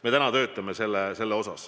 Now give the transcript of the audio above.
Me täna töötame selle nimel.